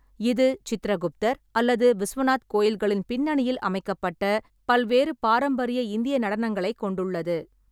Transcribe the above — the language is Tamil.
இது சித்ரகுப்தர் அல்லது விஸ்வநாத் கோயில்களின் பின்னணியில் அமைக்கப்பட்ட பல்வேறு பாரம்பரிய இந்திய நடனங்களைக் கொண்டுள்ளது.